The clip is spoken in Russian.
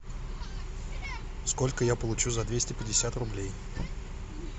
сколько я получу за двести пятьдесят рублей